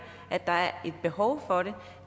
at der er et behov for